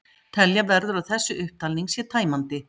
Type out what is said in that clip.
Telja verður að þessi upptalning sé tæmandi.